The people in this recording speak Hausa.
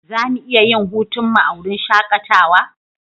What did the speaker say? Za mu iya yin hutunmu a wurin shakatawa?